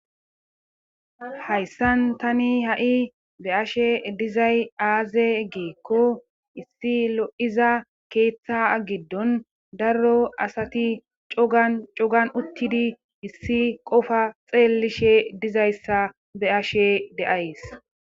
Hayssan tani ha7i be ashe dizay aaze geekko issi lo7iza keeththa agiddon darro asati cacogan uttidi issi qofa xeellishe dizayssa be ashe deays